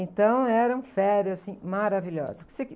Então eram férias, assim, maravilhosas.